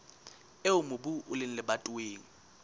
eo mobu o leng lebatoweng